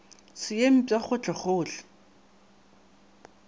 se ye mpsha ka gohlegohle